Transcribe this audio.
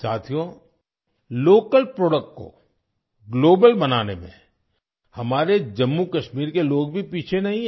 साथियो local products को global बनाने में हमारे जम्मू कश्मीर के लोग भी पीछे नहीं हैं